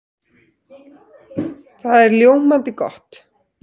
Það er ljómandi gott!